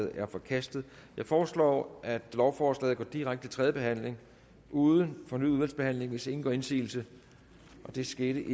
er forkastet jeg foreslår at lovforslaget går direkte til tredje behandling uden fornyet udvalgsbehandling hvis ingen gør indsigelse det skete